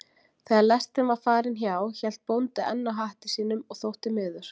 Þegar lestin var farin hjá hélt bóndi enn á hatti sínum og þótti miður.